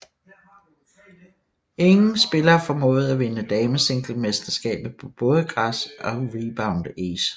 Ingen spillere formåede at vinde damesinglemesterskabet på både græs og Rebound Ace